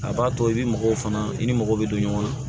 A b'a to i bɛ mɔgɔw fana i ni mɔgɔ bɛ don ɲɔgɔn na